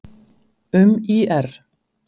Um ÍR: